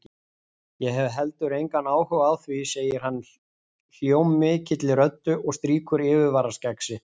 Ég hef heldur engan áhuga á því, segir hann hljómmikilli röddu og strýkur yfirvaraskegg sitt.